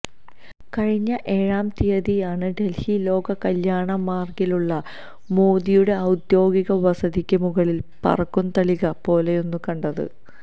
കഴിഞ്ഞ ഏഴാം തീയതിയാണ് ഡല്ഹി ലോക് കല്യാണ് മാര്ഗിലുള്ള മോദിയുടെ ഔദ്യോഗിക വസതിക്ക് മുകളില് പറക്കും തളിക പോലൊന്ന് കണ്ടത്